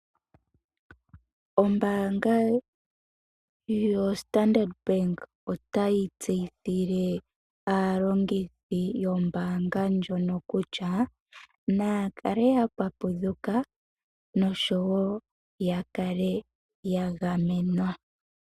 Ombaanga yoStandard Bank otayi tseyithile aalongithi yombaanga ndjono kutya naya kale ya papudhuka noshowo ya kale ya gamenwa.